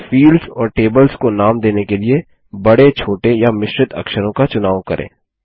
और फील्ड्स और टेबल्स को नाम देने के लिए बड़े छोटे या मिश्रित अक्षरों का चुनाव करें